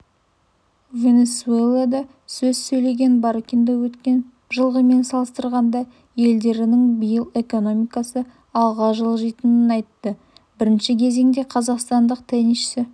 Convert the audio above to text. венесуэлада сөз сөйлегенбаркиндо өткен жылғымен салыстырғанда елдерінің биыл экономикасы алға жылжитынын айтты бірінші кезеңде қазақстандық теннисші